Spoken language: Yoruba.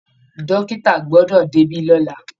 Dọ́kìtà gbọdọ̀ débí lọ́la!